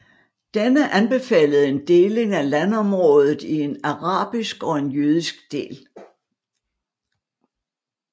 Denne anbefalede en deling af landområdet i en arabisk og en jødisk del